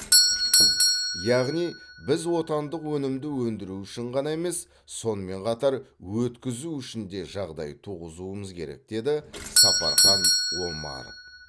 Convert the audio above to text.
яғни біз отандық өнімді өндіру үшін ғана емес сонымен қатар өткізу үшін де жағдай туғызуымыз керек деді сапархан омаров